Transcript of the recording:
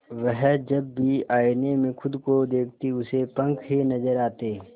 वह जब भी आईने में खुद को देखती उसे पंख ही नजर आते